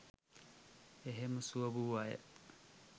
එහෙම සුව වූ අය